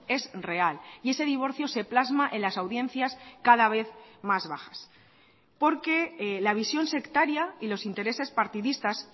es real y ese divorcio se plasma en las audiencias cada vez más bajas porque la visión sectaria y los intereses partidistas